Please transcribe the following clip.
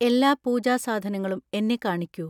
എല്ലാ പൂജാ സാധനങ്ങളും എന്നെ കാണിക്കൂ.